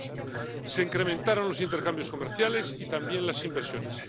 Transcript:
2002. Se incrementaron los intercambios comerciales y también las inversiones.